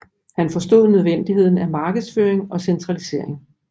Han forstod nødvendigheden af markedsføring og centralisering